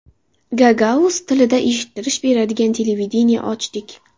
Gagauz tilida eshittirish beradigan televideniye ochdik.